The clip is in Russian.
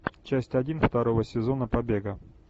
часть один второго сезона побега